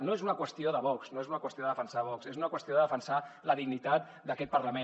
no és una qüestió de vox no és una qüestió de defensar vox és una qüestió de defensar la dignitat d’aquest parlament